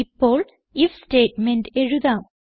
ഇപ്പോൾ if statement എഴുതാം